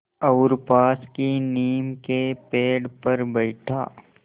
और पास की नीम के पेड़ पर बैठा